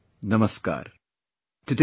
Namaskar